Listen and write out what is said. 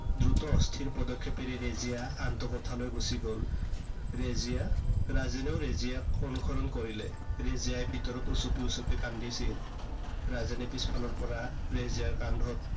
দ্ৰুত অস্থিৰ পদক্ষেপেৰে ৰেজিয়া আনটো কোঠালৈ গুচি গল। ৰেজিয়া, ৰাজেনেও ৰেজিয়াক অনুসৰণ কৰিলে। ৰেজিয়াই ভিতৰত উচুপি উচুপি কান্দিছিল। ৰাজেনে পিছফালৰ পৰা ৰেজিয়াৰ কান্ধত